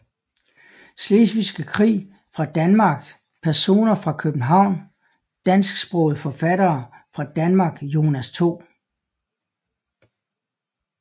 Slesvigske Krig fra Danmark Personer fra København Dansksprogede forfattere fra Danmark Jonas 2